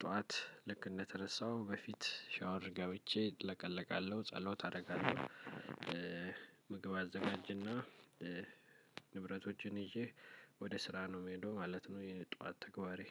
ጠዋት ልክ እንደተነሳው በፊት ሻወር ገብቼ እለቀለቃለው፤ ጸሎት አረጋለው። ምግብ አዘጋጅና ንብረቶቼን ይዤ ወደ ስራ ነው ምሄደው ማለት ነው የጠዋት ተግባሬ።